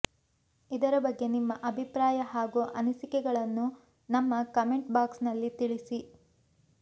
ಇದರ ಬಗ್ಗೆ ನಿಮ್ಮ ಅಭಿಪ್ರಾಯ ಹಾಗೂ ಅನಿಸಿಕೆಗಳನ್ನು ನಮ್ಮ ಕಾಮೆಂಟ್ ಬಾಕ್ಸ್ ನಲ್ಲಿ ತಿಳಿಸಿ